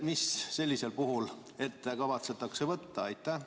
Mis sellisel puhul ette kavatsetakse võtta?